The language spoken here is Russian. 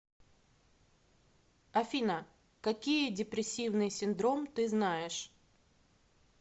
афина какие депрессивный синдром ты знаешь